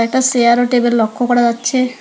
একটা সেয়ার ও টেবিল লক্ষ্য করা যাচ্ছে।